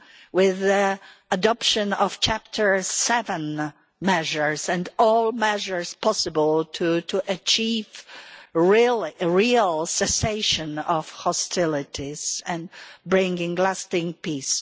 with the adoption of Chapter 7 measures and all measures possible to achieve a real cessation of hostilities and bring lasting peace.